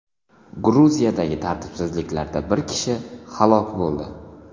Gruziyadagi tartibsizliklarda bir kishi halok bo‘ldi.